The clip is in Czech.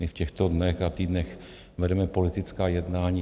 My v těchto dnech a týdnech vedeme politická jednání.